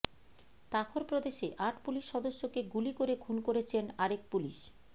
Takhar প্রদেশে আট police সদস্যকে গুলি করে খুন করেছেন আরেক পুলিশ